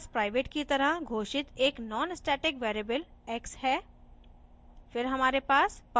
इसमें हमारे पास private की तरह घोषित एक nonstatic variable x है